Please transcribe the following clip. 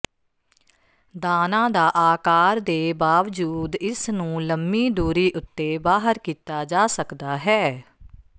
ਦਾਣਾ ਦਾ ਆਕਾਰ ਦੇ ਬਾਵਜੂਦ ਇਸ ਨੂੰ ਲੰਮੀ ਦੂਰੀ ਉੱਤੇ ਬਾਹਰ ਕੀਤਾ ਜਾ ਸਕਦਾ ਹੈ